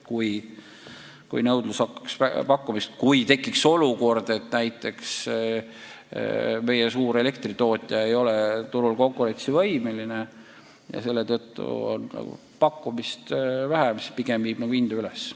Kui tekiks olukord, et meie suur elektritootja ei ole turul konkurentsivõimeline ja selle tõttu on pakkumist vähem, siis see pigem viib hinda üles.